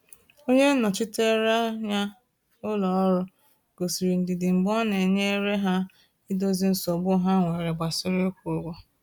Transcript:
Onye nnọchiteanya ụlọ ọrụ gosiri ndidi mgbe ọ na-enyere ha idozi nsogbu ha nwere gbasara ịkwụ ụgwọ.